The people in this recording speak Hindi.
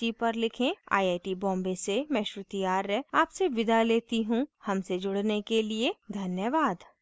आई आई टी बॉम्बे से मैं श्रुति आर्य आपसे विदा लेती हूँ हमसे जुड़ने के लिए धन्यवाद